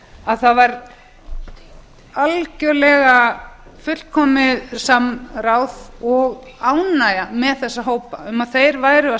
að það var algjörlega fullkomið samráð og ánægja með þessa hópa um að þeir væru að